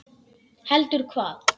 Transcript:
Heldur hvað?